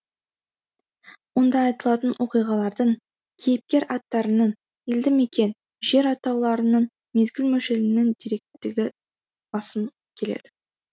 онда айтылатын оқиғалардың кейіпкер аттарының елді мекен жер атауларының мезгіл мөлшерінің деректілігі басым келеді